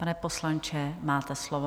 Pane poslanče, máte slovo.